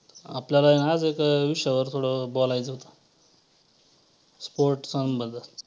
आपल्याला आज एका विषयावर थोडं बोलायचं होतं. sports बद्दल